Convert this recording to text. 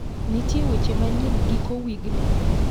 Ntie weche manyien giko wigni?